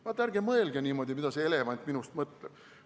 Vaat, ärge mõelge niimoodi, mida see elevant minust mõtleb.